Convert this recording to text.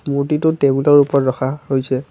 মূৰ্ত্তিটো টেবুলৰ ওপৰত ৰখা হৈছে।